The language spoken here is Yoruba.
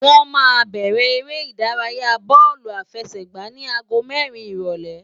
Wọ́n máa bẹ̀rẹ̀ eré ìdárayáa bóòlù àfẹsẹ̀gbá ní aago mẹ́rin ìrólé